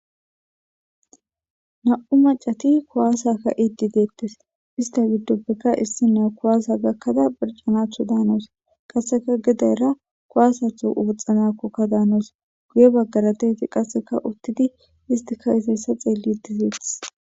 Nam''u macatti kuwasa ka'iddi dettees. Isitta gidoppeka issiniya kuwasa gakada korchanawcha danaws. Qasekka geddera kuwasse achan woxxanawkka danawus. Guye baggara de'iyagetti qasekka uttidi hestti ka'izayssa xeelididetees.